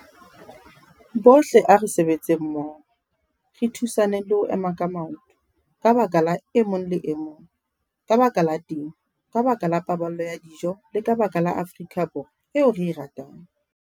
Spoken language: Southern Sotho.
Bohle a re sebetseng mmoho, re thusaneng le ho ema ka maoto - ka baka la e mong le e mong, ka baka la temo, ka baka la paballo ya dijo le ka baka la Afrika Borwa eo re e ratang!